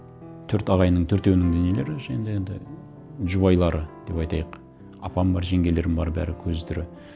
төрт ағайынның төртеуінің де нелері енді жұбайлары деп айтайық апам бар жеңгелерім бар бәрі көзі тірі